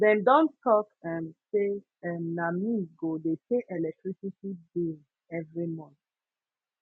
dem don tok um sey um na me go dey pay electricity bills every month